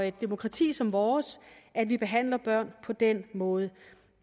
et demokrati som vores at vi behandler børn på den måde